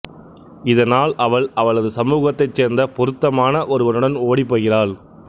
இதனால் அவள் அவளது சமூகத்தைச் சேர்ந்த பொருத்தமான ஒருவனுடன் ஓடிப்போகிறாள்